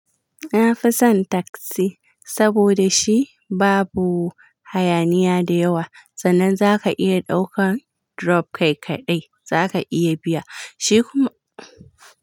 Na fi son taksi saboda shi babu hayaniya da yawa sannan zaka iya ɗaukan drop kai kaɗai zaka iya biya shi kuma.